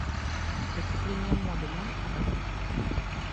преступления моды можешь показать